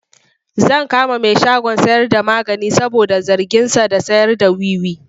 Zan kama mai shagon sayarda magani saboda zarginsa da sayarda wiwi.